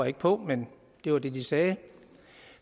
ikke på men det var det de sagde